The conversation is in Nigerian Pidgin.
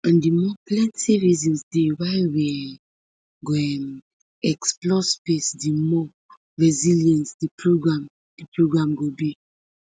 and di more plenti reasons dey why we um go um explore space di more resilient di programme di programme go be